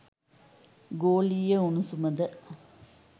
ගෝලීය උණුසුම ද